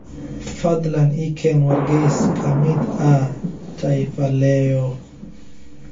fadhlan ii ken wargeys kamid ahh taifa leo